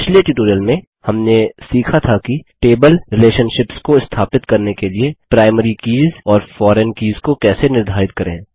पिछले ट्यूटोरियल में हमने सीखा था कि टेबल रिलेशनशिप्स को स्थापित करने के लिए प्राइमरी कीज़ और फॉरेन कीज़ को कैसे निर्धारित करें